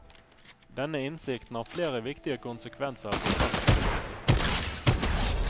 Denne innsikten har flere viktige konsekvenser for praktisk politikk.